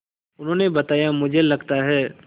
उन्होंने बताया मुझे लगता है